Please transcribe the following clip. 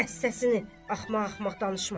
Kəs səsini, axmaq-axmaq danışma.